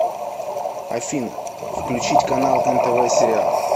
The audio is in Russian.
афина включить канал нтв сериал